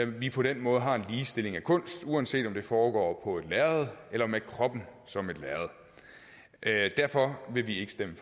vi på den måde har en ligestilling af kunst uanset om det foregår på et lærred eller med kroppen som et lærred derfor vil vi ikke stemme